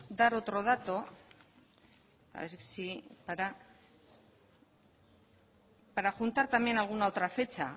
dar otra dato para juntar también alguna otra fecha